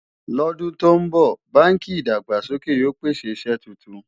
ló dùn ton bó, bánkì ìdàgbàsókè yóò pèsè iṣé túntùn